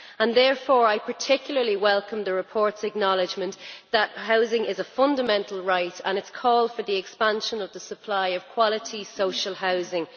I therefore particularly welcome the report's acknowledgment that housing is a fundamental right and its call for the expansion of the supply of quality social housing.